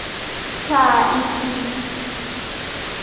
Taa itii.